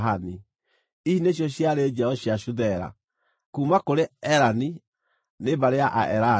Ici nĩcio ciarĩ njiaro cia Shuthela; kuuma kũrĩ Erani, nĩ mbarĩ ya Aerani.